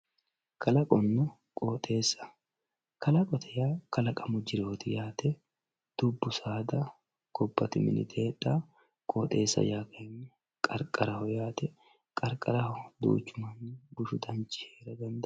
Kalqonna qooxxeessa, kalqote yaa kalqamu jirroti yaate dubu saada gobati miniti heedhawo, qooxxeessa yaa qariqaraho yaate qariqaraho duuchu mani bushu danchi heera danidawo.